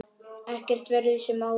Ekkert verður sem áður.